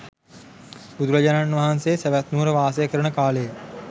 බුදුරජාණන් වහන්සේ සැවැත් නුවර වාසය කරන කාලයේ